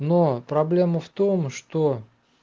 но проблема в том что